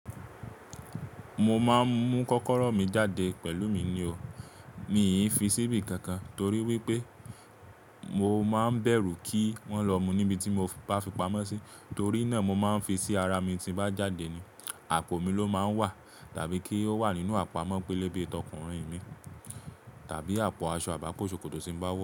Mo máa ń mú kọ́kọ́rọ́ mi jáde pẹ̀lú mi ni o. Mi i fi síbí kankan torí wípé mo máa ń bẹ̀rù kí wọ́n lọ mú níbi tí mo bá fi pamọ́ sí, torí náà mo máa ń fi sí ara mi tí bá jáde ni àpò mi ló máa ń wà tàbí kí ó wà nínú àpamọ́ pélébé tọkùnrin mi tàbí àpò aṣọ àbápo ṣòkòtò tí ń bá wo.